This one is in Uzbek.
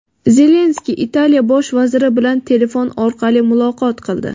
Zelenskiy Italiya Bosh vaziri bilan telefon orqali muloqot qildi.